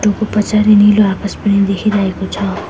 पछाडि नीलो आकाश पनि देखिरहेको छ।